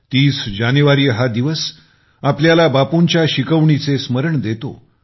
30 जानेवारी हा दिवस आपल्याला बापूंच्या शिकवणीचे स्मरण देतो